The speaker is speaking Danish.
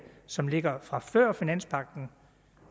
som ligger der fra før finanspagten